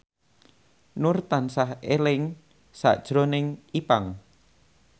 Nur tansah eling sakjroning Ipank